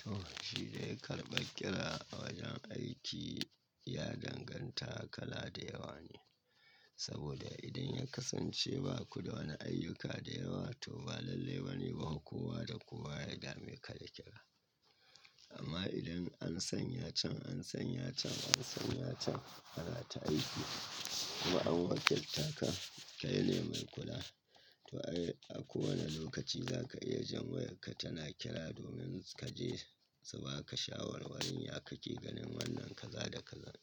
To, shi dai karɓar kira a wajen aiki ya danganta kala da yawa ne. Saboda idan ya kasance ba ku da wani ayyuka da yawa to ba lallai bane ba kowa da kowa ya dami ka da kira. Amma idan an sanya can, an sanya can, an sanya can, ana ta aiki. Kuma an wakiltaka, ka yi lalle mai kula. To ai, a kowane lokaci za ka iya jan wayarka tana kira domin ka je, saboda aka shawarwarin ya ka ke ganin wannan ka za da ka zan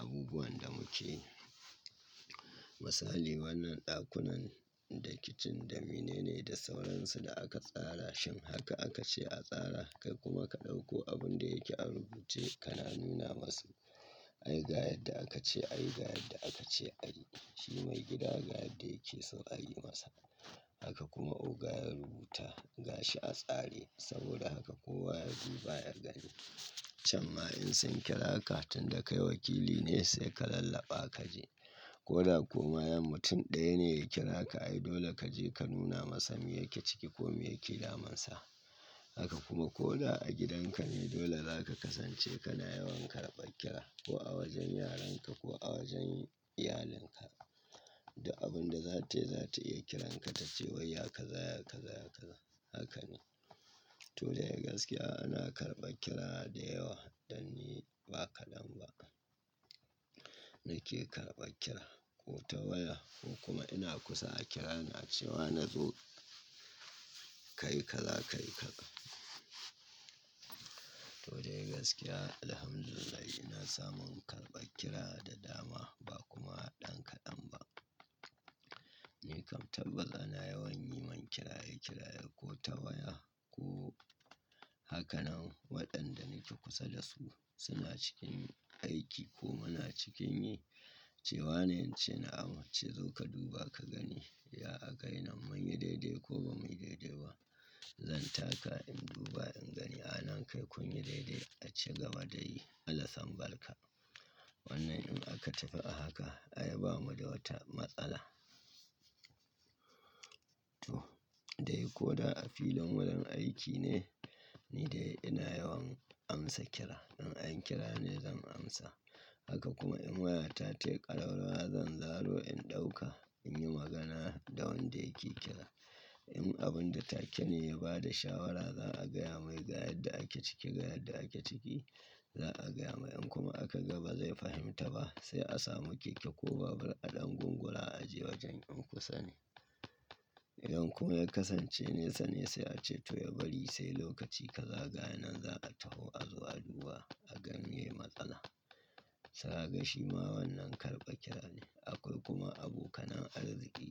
abubuwan da muke. Misali wannan ɗakunan da kicin da mene ne da sauransu da aka tsara shim haka aka ce a tsara kai kuma ka ɗauko abun da yake a rubuce kana nuna masu. Ai ga yadda aka ce, a yi ga yadda aka ce a yi. Shi maigida ga yadda yake so a yi masa. Haka kuma oga ya rubuta, ga shi a tsare. Saboda haka kowa ya duba ya gani. Chamma in san kira ka tun da kai wakili ne sai ka lallaɓa ka je. Ko da komai mutum ɗaya ne ya kira ka ai dole ka je ka nuna masa me yake ciki ko me yake damunsa. Haka kuma ko da a gidanka ne dole za ka kasance kana yawan karɓar kira ko a wajen yaran ka ko a wajen iyalinka. Duk abun da za ta yi za ta iya kiranka ta ce wai ya kaza, ya kaza, ya kaza. Haka ne. To dai gaskiya ana karɓar kira da yawa dan ni ba kaɗan ba. Na ke karɓar kira ko ta waya ko kuma ina kusa kira na cewa na zo kai kaza kai kaƙa. To dai gaskiya Alhamdulillah ina samun karɓar kira da dama ba kuma ɗan kaɗan ba. Ni kam tabbata ana yawan yi min kiraye kiraye ko ta waya ko hakanan waɗanda nake kusa da su suna cikin aiki ko muna cikin yi. Ce wane in ce na'am, a ce zo ka duba ka gani. Ya ka gani nan mun yi daidai ko ba mu yi daidai ba. Zan taka in duba in gani. A nan kai kun yi daidai a ci gaba da yi. Allah sambarka. Wannan in aka tafi a haka ai ba mu da wata matsala. To dai ko da a filin wurin aiki ne ni dai ina yawan amsa kira. In anyi kira ne zan amsa. Haka kuma in waya ta tayi ƙalaruwa zan zawo in ɗauka in yi magana da wanda yake kira. In abun da take ne ya ba da shawara za a gaya mai ga yadda ake ciki ga yadda ake ciki. Za a gaya mai in kuma aka ga ba zai fahimta ba sai a samu keke ko babur a ɗan gungura a je wajen in kusa ne. In kuma ya kasance nesa ne sai a ce to yabari sai lokaci ka za ga nan za a taho a zo a duba a gani me matsala. Sa'a ga shi ma wannan karɓa kira ne. Akwai kuma abokan arziki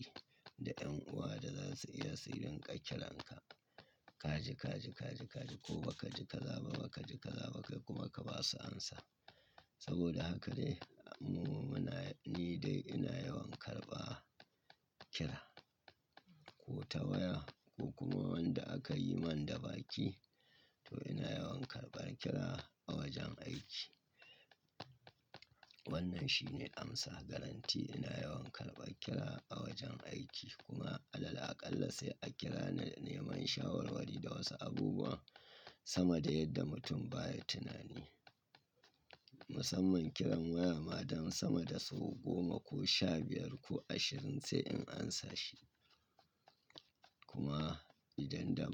da 'yan uwa da za su iya sai linka kiranka. Kaji kaji kaji kaji ko ba kaji ka za ba kaji ka za ba kai kuma ka ba su amsa. Saboda haka dai mu muna ni dai ina yawan karɓa kira. Ko ta waya ko kuma wanda aka yi min da baki to ina yawan karɓan kira a wajen aiki. Wannan shine amsa. Guaranty ina yawan karɓan kira a wajen aiki kuma Alal aƙalla sai a kira na neman shawarwari da wasu abubuwa sama da yadda mutum baya tunani. Musamman kiran waya ma don sama da sau goma ko sha biyar ko ashirin sai in amsa shi. Kuma idan da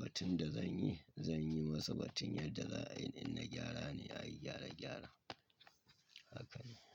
batun da zan yi, zan yi masa batun yadda za'a in na gyara ne a yi gyare gyare. Haka ne.